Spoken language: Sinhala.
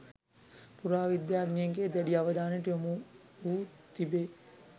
පුරාවිද්‍යාඥයින්ගේ දැඩි අවධානයට යොමු වූ තිබේ